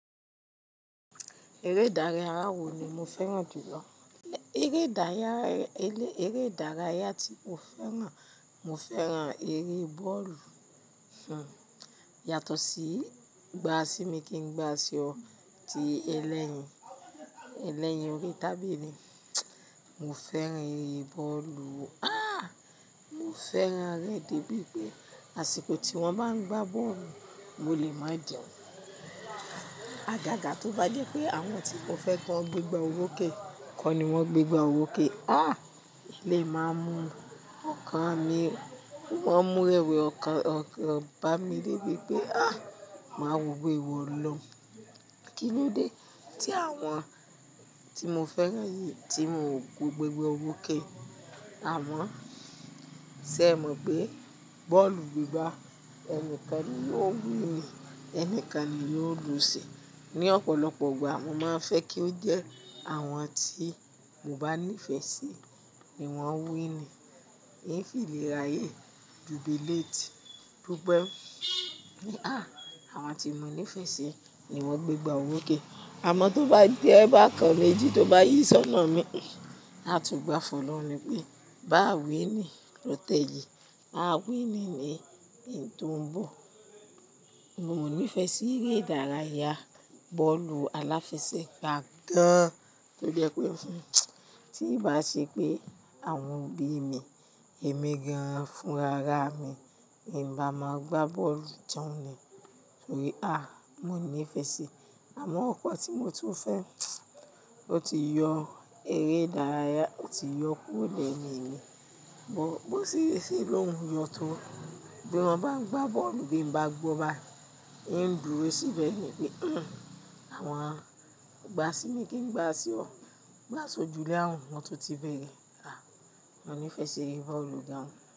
Eré ìdárayá wo ni mo fẹ́ràn jù lọ? Eré ìdárayá, eré, eré ìdárayá tí mo fẹ́ràn, mo fẹ́ràn eré bọ́ọ̀lù. Hmm, yàtọ̀ sí gbá sí mi kí n gbá sí ọ tí ẹlẹ́yin, ẹlẹ́yin orí tábìlì. Mo fẹ́ràn eré bọ́ọ̀lù. Ah! Mo fẹ́ràn rẹ̀ débi pé àsìkò tí wọ́n bá ń gbá bọ́ọ̀lù, mo lè máa jẹun. Àgàgà tó bá jẹ́ pé àwọn tí mo fẹ́ kán gbé gbá orókẹ̀, kọ́ ni wọ́n gbé gbá orókẹ̀. Ah! Eléyií máa ń mu ọkàn mi, ó ń mu rẹ̀wẹ̀ ọkàn, ọkàn bá mi débi pé ah! Màá wọ̀ pẹ́ ìwọ ọlọhun. Kí ló dé tí àwọn tí mo fẹ́ràn yìí tí wọn ò gbé gbá orókè? Àmọ́, ṣé ẹ mọ̀ pé bọ́ọ̀lù gbígbá, ẹnikan ni yóò win ni, ẹni kan ni yóò lù síi. Ni ọ̀pọ̀lọpọ̀ ìgbà, mo máa ń fẹ́ kí ó jẹ́ àwọn tí mo bá nífẹ̀ẹ́ sí ni wọ́n win ni, n o sì lè ráyè jùbiléètì. Bógbẹ́ ní, ah! Àwọn tí mo nífẹ̀ẹ́ sí ni wọ́n gbé gbá owó kẹ̀. Àmọ́ tó bá je bákan mejí tó bá yí ṣọ́nà mi, a tún gbafọ̀ lọ̀run ni pé bá wín ni ló tẹ yii á wín ni ní ń tò ń bọ̀. Mo mọ nífẹ̀ẹ́ sí eré ìdárayá bọ́ọ̀lù aláfẹsẹ̀gbá gan-an. Tó jẹ́ pé, hmm, tí ì bá ṣe pé àwọn òbí mi, èmi gan-an fún ra ara mi, ì bá máa gbá bọ́ọ̀lù tan ni. Torí, ah! Mo nífẹ̀ẹ́ sí i. Àmọ́ nkan tí mo tún fẹ́, ó ti yọ eré ìdárayá, ó ti yọ kúrò lẹ́yìn mi. Bó, bó ṣe yé ṣí i lóhùn yọ tó, bí wọ́n bá ń gbá bọ́ọ̀lù bí n bá gbọ́ bá, ń dúró síbẹ̀ ni pé, hmm, àwọn gbá sí mi kí n gbá sí ọ. Gbá sójú lé àwon, wọn tó ti bere Ah! Mo nífẹ̀ẹ́ sí eré bọ́ọ̀lù gan-an.